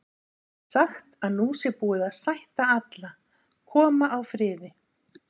Það er sagt að nú sé búið að sætta alla, koma á friði.